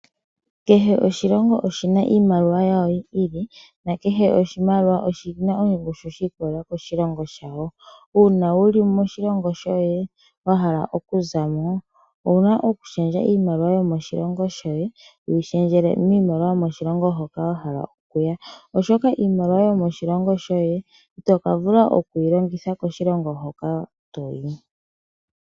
Kehe oshilongo oshina iimaliwa yayo yi ili na kahe oshimaliwa oshina ongushu shiikolela koshilongo shawo. Uuna wuli moshilongo shoye wa hala oku za mo owuna okushendja iimaliwa yomoshilongo shoye wuyi shendjele miimaliwa yomoshilongo hoka wa hala okuya , oshoka iimaliwa yomoshilongo shoye itoka vulu okuyi longitha koshilongo hoka toyi.